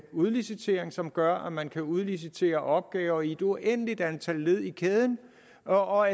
udlicitering som gør at man kan udlicitere opgaver i et uendeligt antal led i kæden og